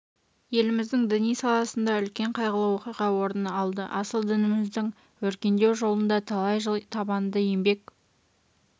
еліміздің діни саласында үлкен қайғылы оқиға орын алды асыл дініміздің өркендеу жолында талай жыл табанды еңбек